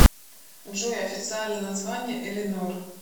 джой официальное название элинор